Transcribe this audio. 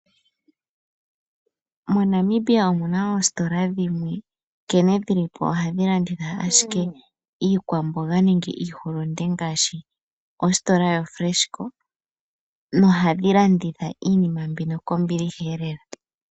MoNamibia omuna oositola dhimwe nkene dhilipo ohadhi landitha ashike iikwamboga nenge iihulunde ngaashi ositola yo Freshco, nohadhi landitha iinima mbino kombiliha lela.